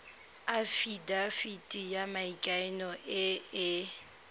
afitafiti ya maikano e e